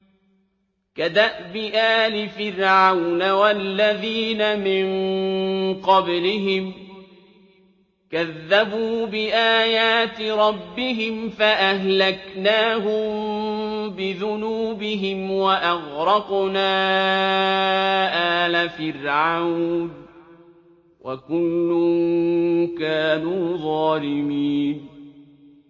كَدَأْبِ آلِ فِرْعَوْنَ ۙ وَالَّذِينَ مِن قَبْلِهِمْ ۚ كَذَّبُوا بِآيَاتِ رَبِّهِمْ فَأَهْلَكْنَاهُم بِذُنُوبِهِمْ وَأَغْرَقْنَا آلَ فِرْعَوْنَ ۚ وَكُلٌّ كَانُوا ظَالِمِينَ